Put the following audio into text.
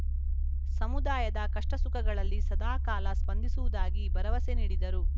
ಸಮುದಾಯದ ಕಷ್ಟಸುಖಗಳಲ್ಲಿ ಸದಾಕಾಲ ಸ್ಪಂದಿಸುವುದಾಗಿ ಭರವಸೆ ನೀಡಿದರು